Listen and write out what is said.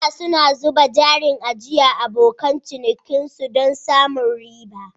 Bankunan suna zuba jarin ajiyar abokan cinikinsu don samun riba.